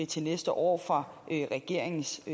til næste år fra regeringens